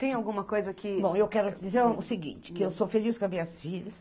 Tem alguma coisa que... Bom, eu quero dizer o seguinte, que eu sou feliz com as minhas filhas.